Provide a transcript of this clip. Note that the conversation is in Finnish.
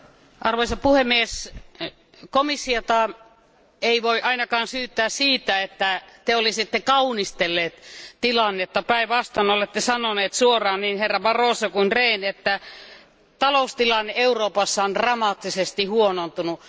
Arvoisa puhemies, komissiota ei voi ainakaan syyttää siitä, että te olisitte kaunistelleet tilannetta, päinvastoin olette sanoneet suoraan, niin Barroso kuin Rehn, että taloustilanne Euroopassa on dramaattisesti huonontunut.